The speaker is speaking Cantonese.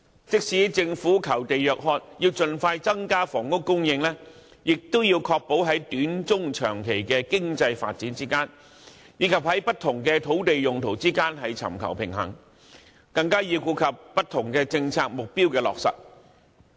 即使政府求地若渴，要盡快增加房屋供應，亦要確保在短、中、長期經濟發展之間，以及在不同土地用途之間尋求平衡，更要顧及不同政策目標的落實。